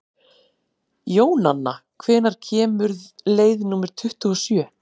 Jónanna, hvenær kemur leið númer tuttugu og sjö?